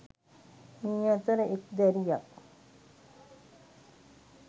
මේ අතර එක් දැරියක්